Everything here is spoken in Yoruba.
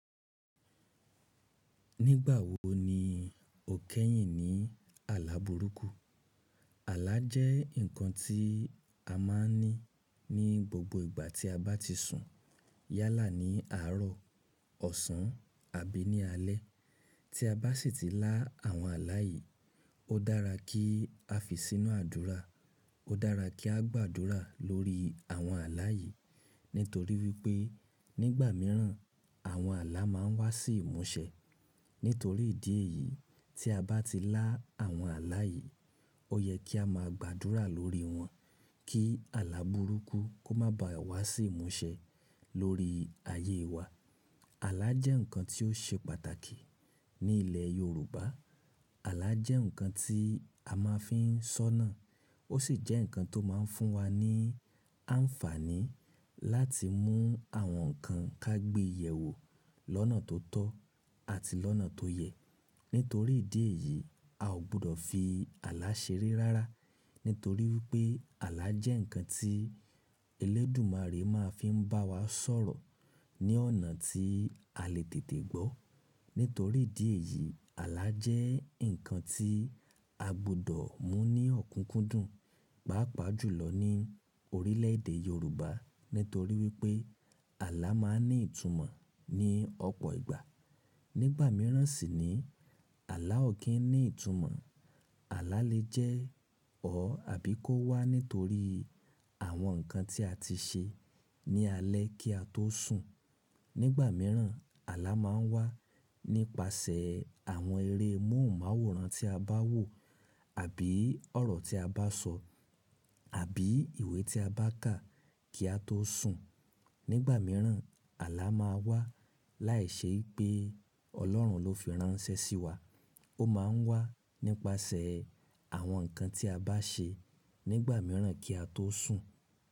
Nígbà wo ni o kẹ́yìn ní àlà burúkú? Àlà jẹ́ ǹkan tí a máa ń ní ní gbogbo ìgbà tí a bá ti sùn. Yálà ní àárọ̀, ọ̀sán àbí ní alé. Tí a bá sì ti lá àwọn àlà yìí, ó dára kí a fi sínú àdúrà. Ó dára kí á gbàdúrà lórí àwọn àlà yìí. Nítorí wípé nígbà mìíràn àwọn àlà má ń wá sí ìmúṣẹ. Nítorí ìdí èyí tí a bá ti lá àwọn àlà yìí, ó yẹ kí a máa gbàdúrà lórí wọn kí àlà burúkú kó má ba wá sí ìmúṣẹ lórí ayé wá. Àlà jẹ́ ǹkan tí ó ṣe pàtàkì ní ilẹ̀ Yorùbá. Àlà jẹ́ ǹkan tí a máa ń fi sọ́nà. Ó sì jẹ́ ǹkan tó máa ń fún wa ní àǹfààní láti mú àwọn ǹkan ká gbe yẹ̀wo lọ́nà tó tọ́ àti lọ́nà tó yẹ. Nítorí ìdí èyí, a ò gbudọ̀ fi àlà ṣeré rárá. Nítorí wípé àlà jẹ́ ǹkan tí elédùmarè máa ń fi ń bá wa sọ̀rọ̀ ní ọ̀nà tí a lè tètè gbọ́. Nítorí ìdí èyí àlà jẹ́ ǹkan tí a gbudọ̀ mú ní ọ̀kúnkúndùn, pàápàá jùlọ ní orílẹ̀èdè Yorùbá. Nítorí wípé àlà máa ń ní ìtumọ̀ ní ọ̀pọ̀ ìgbà. Nígbà mìíràn sì ni àlà ò kí ń ní ìtumọ̀. Àlà lè jẹ́ or àbí kó wá nítorí àwọn ǹkan tí a ti ṣe ní alẹ́ kí a tó sùn. Nígbà mìíràn àlà máa ń wá nípasẹ̀ àwọn eré móhùnmáwòrán tí a bá wò àbí ọ̀rọ̀ tí a bá sọ àbí ìwé tí a bá kà kí a tó sùn. Nígbà mìíràn àlà máa wá láìṣẹ́ wipé ọlọ́run ló fi ránṣẹ́ sí wa. Ó máa ń wá nípasẹ̀ àwọn ǹkan tí a bá ṣe nígbà mìíràn kí a tó sùn.